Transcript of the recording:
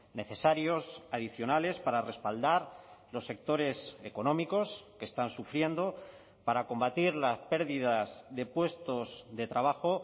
necesarios adicionales para respaldar los sectores económicos que están sufriendo para combatir las pérdidas de puestos de trabajo